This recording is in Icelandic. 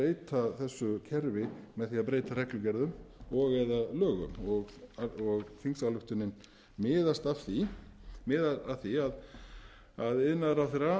að breyta þessu kerfi með því að breyta reglugerðum og eða lögum og þingsályktunin miðar að því að hæstvirtur iðnaðarráðherra